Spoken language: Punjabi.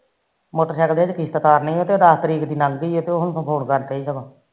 ਮੋਟਰਸਾਇਕਲ ਦੀ ਕਿਸ਼ਤ ਤਾਰਨੀ ਤੇ ਦਸ ਲਾਂਘਗੀ ਗੀ ਆ ਤੇ ਉਹ ਫੋਨ ਕਰਦੇ